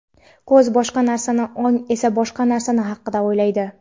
ko‘z boshqa narsani ong esa boshqa narsa haqida o‘ylaydi.